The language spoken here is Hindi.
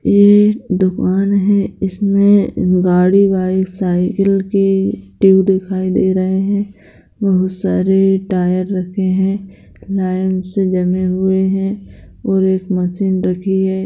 यह एक दुकान हैं इसमें गाड़ी बाइक साइकिल की ट्यूब दिखाई दे रहे हैं बहुत सारे टायर रखे हैं लाइन से जमे हुए हैं और एक मशीन रखी हैं।